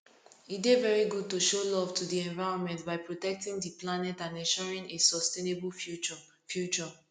e dey very good to show love to di environment by protectng di planet and ensuring a sustainable future future